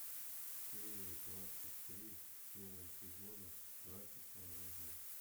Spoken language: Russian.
серия двадцать три первого сезона братья по оружию